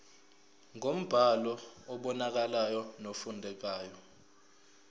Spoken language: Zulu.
ngombhalo obonakalayo nofundekayo